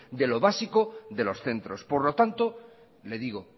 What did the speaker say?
de lo básico de los centros por lo tanto le digo